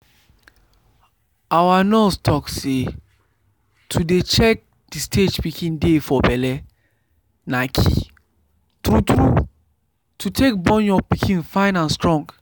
our nurse talk say to dey check the stage pikin dey for belle na key true true to take born your pikin fine and strong